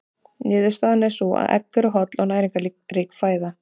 Niðurstaðan er sú að egg eru holl og næringarrík fæða.